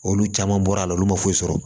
Olu caman bɔra la olu ma foyi sɔrɔ